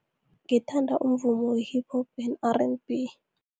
Ngithanda umvumo we-Hip Hop and R_N_B.